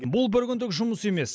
бұл бір күндік жұмыс емес